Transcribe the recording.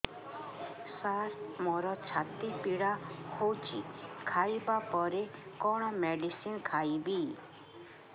ସାର ମୋର ଛାତି ପୀଡା ହଉଚି ଖାଇବା ପରେ କଣ ମେଡିସିନ ଖାଇବି